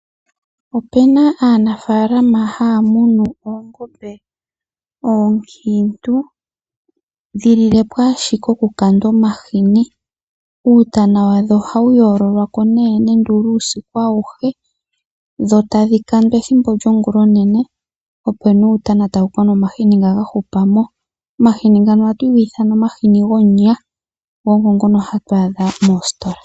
Opu na aanafaalama haya munu oongombe oonkiintu dhi lile po ashike okukandwa omahini. Uutana wadho ohawu yoololokwa nee uusiku auhe dho tadhi kandwa ethimbo lyongulonene, opo nee uutana tawu ka yama omahini nga ga hupa mo. Omahini ngano ohatu ga ithana omahini gomunya go ogo ngono hatu adha moositola.